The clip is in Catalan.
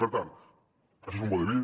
per tant això és un vodevil